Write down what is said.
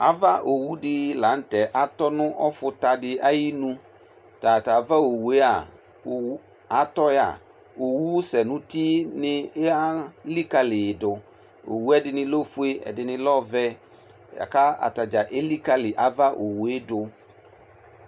Ava oeu de lantɛ atɔ no ɔfuta de ayenu, Tata ava owua owu, atɔ ya Owu sɛ no uti elikali ye do Owuɛ dene lɛ ofue, ɛdene lɛ ɔvɛ, ka ata dza elikali ava owue do